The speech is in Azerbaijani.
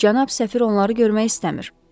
Cənab səfir onları görmək istəmir.